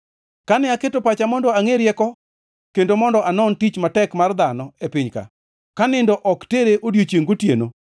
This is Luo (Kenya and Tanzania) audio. Kane aketo pacha mondo angʼe rieko kendo mondo anon tich matek mar dhano e piny-ka ka nindo ok tere odiechiengʼ gotieno,